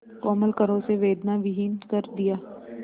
कोमल करों से वेदनाविहीन कर दिया